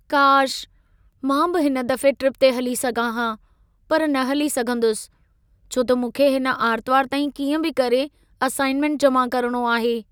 काश! मां बि हिन दफ़े ट्रिप ते हली सघां हा, पर न हली सघंदुसि, छो त मूंखे हिन आर्तवार ताईं कीअं बि करे असाइन्मन्ट जमा करणो आहे।